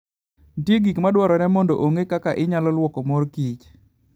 Nitie gik ma dwarore mondo ong'e kaka inyalo lwoko mor kich.